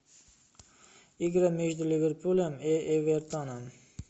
игра между ливерпулем и эвертоном